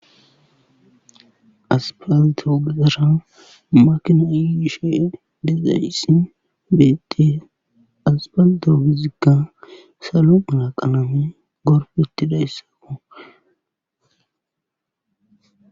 Aspalte ogezara makinay yishe dizayssi beettes aspalte ogezikka salo mala qalamen gorpettidaysakko.